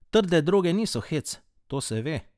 Trde droge niso hec, to se ve.